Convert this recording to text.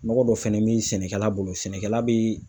Nɔgɔ dɔ fɛnɛ bɛ sɛnɛkɛla bolo sɛnɛkɛla bi.